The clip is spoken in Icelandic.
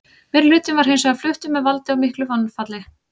Meirihlutinn var hins vegar fluttur með valdi og miklu mannfalli.